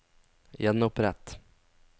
gjenopprett